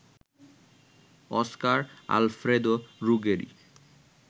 Oscar Alfredo Ruggeri